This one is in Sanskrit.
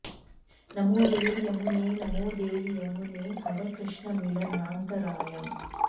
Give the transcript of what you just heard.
नमो देवि यमुने नमो देवि यमुने हर कृष्णमिलनान्तरायम्